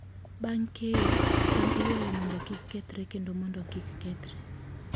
Bang' keyo, cham iywayo mondo kik kethre kendo mondo kik kethre.